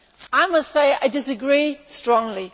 I must say I disagree strongly.